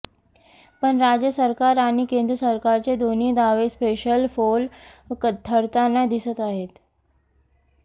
पण राज्य सरकार आणि केंद्र सरकारचे दोन्ही दावे सपशेल फोल ठरताना दिसत आहेत